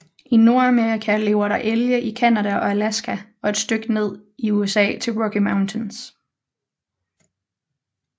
I Nordamerika lever der elge i Canada og Alaska og et stykke ned i USA til Rocky Mountains